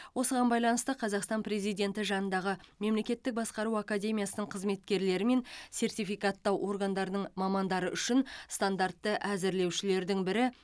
осыған байланысты қазақстан президенті жанындағы мемлекеттік басқару академиясының қызметкерлері мен сертификаттау органдарының мамандары үшін стандартты әзірлеушілердің бірі